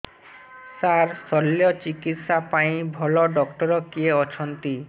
ସାର ଶଲ୍ୟଚିକିତ୍ସା ପାଇଁ ଭଲ ଡକ୍ଟର କିଏ ଅଛନ୍ତି